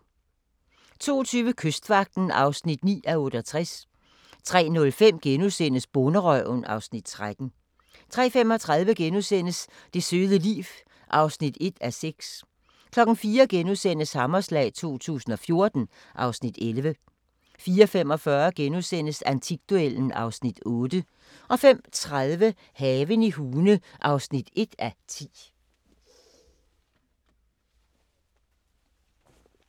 02:20: Kystvagten (9:68) 03:05: Bonderøven (Afs. 13)* 03:35: Det søde liv (1:6)* 04:00: Hammerslag 2014 (Afs. 11)* 04:45: Antikduellen (Afs. 8)* 05:30: Haven i Hune (1:10)